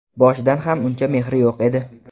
Boshidan ham uncha mehri yo‘q edi.